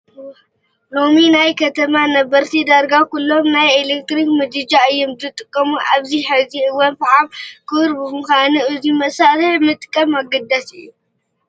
ሎሚ ናይ ከተማ ነበርቲ ዳርጋ ኩሎም ናይ ኤለክትሪክ ምድጃ እዮም ዝጥቀሙ፡፡ ኣብዚ ሕዚ እዋን ፈሓም ክቡር ብምዃኑ እዚ መሳርሒ ምጥቃም ኣገዳሲ እዩ፡፡